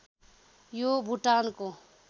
यो भुटानको